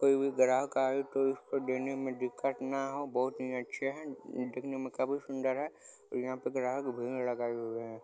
कोई भी ग्राहक आए उसको देने में दिक्कत ना हो बहुत ही अच्छे हैं दिखने में काफी सुंदर है यहाँ पे ग्राहक भीड़ लगाए हुए हैं।